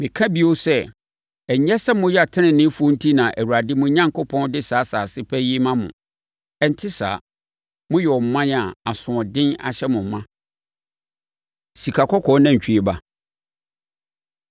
Meka bio sɛ, ɛnyɛ sɛ moyɛ teneneefoɔ enti na Awurade, mo Onyankopɔn, de saa asase pa yi rema mo. Ɛnte saa. Moyɛ ɔman a asoɔden ahyɛ mo ma. Sikakɔkɔɔ Nantwie Ba